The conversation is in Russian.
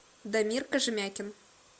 дамир кожемякин